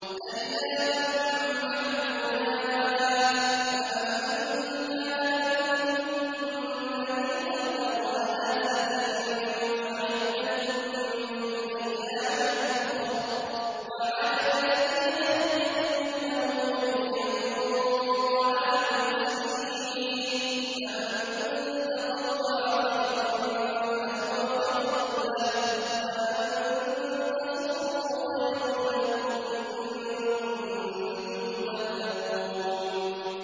أَيَّامًا مَّعْدُودَاتٍ ۚ فَمَن كَانَ مِنكُم مَّرِيضًا أَوْ عَلَىٰ سَفَرٍ فَعِدَّةٌ مِّنْ أَيَّامٍ أُخَرَ ۚ وَعَلَى الَّذِينَ يُطِيقُونَهُ فِدْيَةٌ طَعَامُ مِسْكِينٍ ۖ فَمَن تَطَوَّعَ خَيْرًا فَهُوَ خَيْرٌ لَّهُ ۚ وَأَن تَصُومُوا خَيْرٌ لَّكُمْ ۖ إِن كُنتُمْ تَعْلَمُونَ